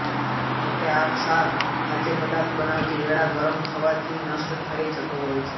જો કે આ ક્ષાર ખાદ્ય પદાર્થ બનાવતી વેળા ગરમ થવાથી નષ્ટ થઇ જતો હોય છે